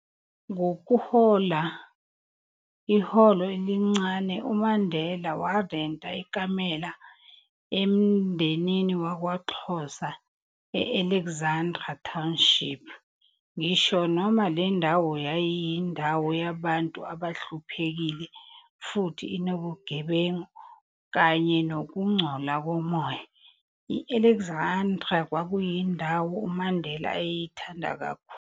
Ngokuhola iholo elincane, uMandela warenta ikamela emndenini wakwaXhosa e-Alexandra township, ngisho noma le ndawo yayiyindawo yabantu abahluphekile, futhi inobugebengu, kanye nokungcola komoya, i-Alexandra, kwakuyindawo uMandela ayeyithanda kakhulu.